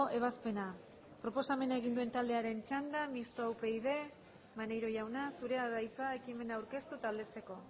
ebazpena proposamena egin duen taldearen txanda mistoa upyd maneiro jauna zurea da hitza ekimena aurkeztu eta aldezteko